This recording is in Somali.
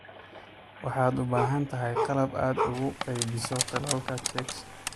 Waxaad u baahan tahay qalab aad ugu qaybiso tallaalka chicks.